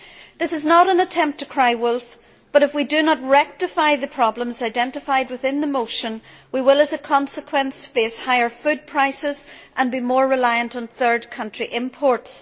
This is not an attempt to cry wolf, but if we do not rectify the problems identified within the motion, we will, as a consequence, face higher food prices and be more reliant on third country imports.